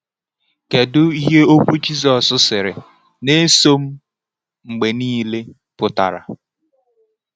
Kedu ihe okwu Jizọs sịrị “Na-eso m mgbe niile” pụtara?